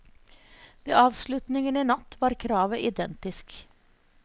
Ved avslutningen i natt var kravet identisk.